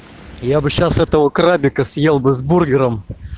я бы сейчас этого крабика съел бы с бургером